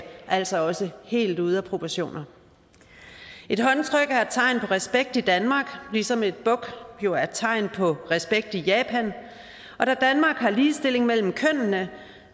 altså også helt ude af proportioner et håndtryk er et tegn på respekt i danmark ligesom et buk jo er et tegn på respekt i japan og da danmark har ligestilling mellem kønnene